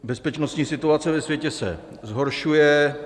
Bezpečnostní situace ve světě se zhoršuje.